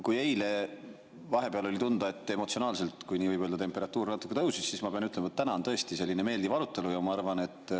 Kui eile vahepeal oli tunda, et emotsionaalselt, kui nii võib öelda, temperatuur natuke tõusis, siis ma pean ütlema, et täna on tõesti selline meeldiv arutelu.